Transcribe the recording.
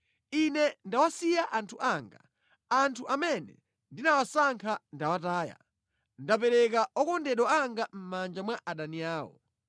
“Ine ndawasiya anthu anga; anthu amene ndinawasankha ndawataya. Ndapereka okondedwa anga mʼmanja mwa adani awo.